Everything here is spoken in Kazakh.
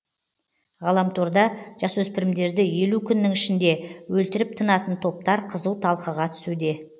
ғаламторда жасөспірімдерді елу күннің ішінде өлтіріп тынатын топтар қызу талқыға түсуде